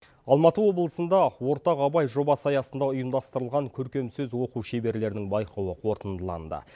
алматы облысында ортақ абай жобасы аясында ұйымдастырылған көркем сөз оқу шеберлерінің байқауы қорытындыланды